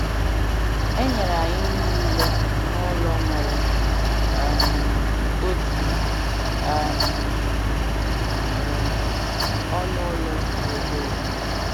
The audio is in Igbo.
Enyere anyị niile n’ụlọ nwere um otu um um ọnụ ụlọ dị obere.